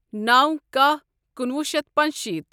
نو کاہ کنُوُہ شیتھ پانٛژشیٖتھ